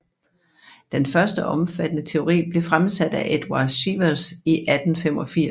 Den første omfattende teori blev fremsat af Eduard Sievers i 1885